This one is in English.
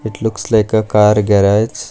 It looks like a car garage.